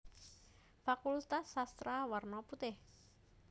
Fakultas Sastra werna putih